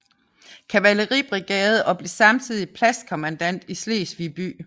Kavaleribrigade og blev samtidig pladskommandant i Slesvig by